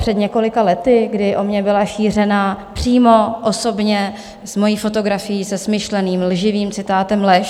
Před několika lety, kdy o mně byla šířená přímo osobně s mou fotografií se smyšleným lživým citátem lež.